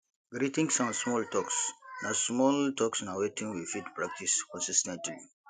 greetings and small talks na small talks na wetin we fit practice consis ten tly